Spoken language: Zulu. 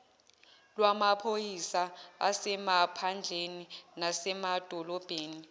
lwamaphoyisa asemaphandleni nasemadolobheni